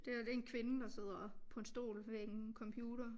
Det her det en kvinde der sidder på en stol ved en computer